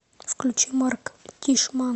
включи марк тишман